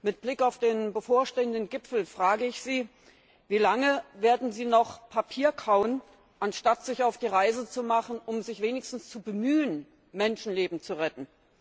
Mit Blick auf den bevorstehenden Gipfel frage ich Sie Wie lange werden Sie noch Papier kauen, anstatt sich auf die Reise zu machen, um sich wenigstens zu bemühen, Menschenleben zu retten?